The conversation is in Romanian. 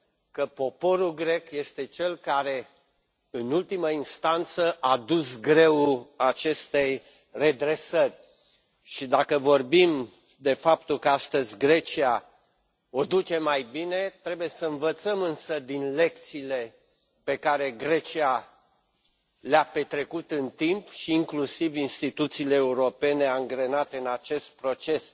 că poporul grec este cel care, în ultimă instanță, a dus greul acestei redresări. Și, dacă vorbim de faptul că astăzi Grecia o duce mai bine, trebuie să învățăm însă din lecțiile pe care Grecia le a învățat în timp și inclusiv instituțiile europene angrenate în acest proces.